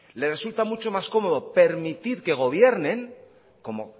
le resulta mucho más cómodo permitir que gobiernen como